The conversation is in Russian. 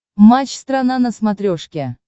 матч страна на смотрешке